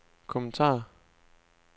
kommentar